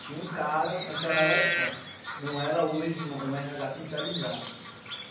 Tinha um cara, naquela época não era hoje um erreahá centralizado.